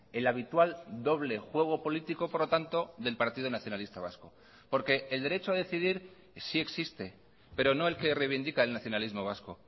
el habitual doble juego político por lo tanto del partido nacionalista vasco porque el derecho a decidir sí existe pero no el que reivindica el nacionalismo vasco